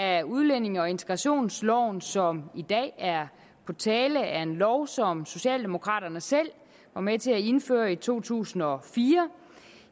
af udlændinge og integrationsloven som i dag er på tale er en lov som socialdemokraterne selv var med til at indføre i to tusind og fire